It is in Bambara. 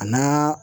A n'a